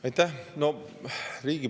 Aitäh!